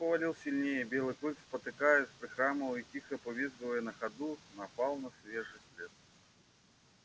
снег повалил сильнее и белый клык спотыкаясь прихрамывая и тихо повизгивая на ходу напал на свежий след